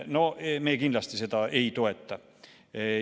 No me kindlasti seda ei toeta.